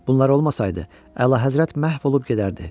Bunlar olmasaydı, əlahəzrət məhv olub gedərdi.